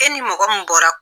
E ni mɔgɔ min bɔra.